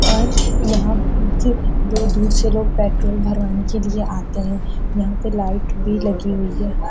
और यहाँ बोहोत दूर दूर से लोग पेट्रोल भरवाने के लिए आते है। यहाँ पे लाइट भी लगी हुई है।